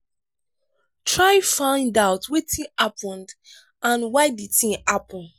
try find out wetin happen and why di thing happen